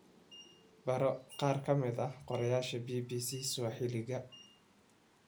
Baro qaar ka mid ah qorayaasha BBC Sawaaxiliga